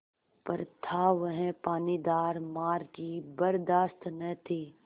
पर था वह पानीदार मार की बरदाश्त न थी